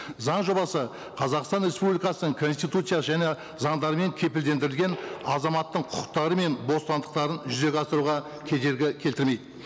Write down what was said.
заң жобасы қазақстан республикасының конституция және заңдарымен кепілдендірілген азаматтың құқықтары мен бостандықтарын жүзеге асыруға кедергі келтірмейді